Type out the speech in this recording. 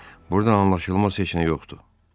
Burda anlaşılmaz heç nə yoxdur.